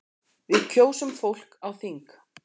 Við kjósum fólk á þing.